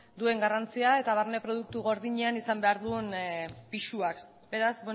duen garrantzian eta barne produktu gordinean izan behar duen pisuaz beraz